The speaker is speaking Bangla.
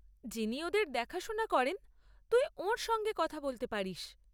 যিনি ওদের দেখাশোনা করেন তুই ওঁর সঙ্গে কথা বলতে পারিস।